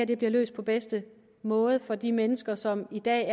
det bliver løst på bedste måde for de mennesker som i dag